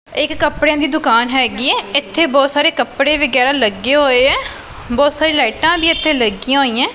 ਇਹ ਇਕ ਕੱਪੜਿਆਂ ਦੀ ਦੁਕਾਨ ਹੈਗੀ ਐ ਇਥੇ ਬਹੁਤ ਸਾਰੇ ਕੱਪੜੇ ਵਗੈਰਾ ਲੱਗੇ ਹੋਏ ਐ ਬਹੁਤ ਸਾਰੇ ਲਾਈਟਾਂ ਵੀ ਇਥੇ ਲੱਗੀਆਂ ਹੋਈਆਂ।